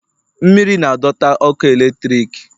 mmiri na- adota ọkụ eletrik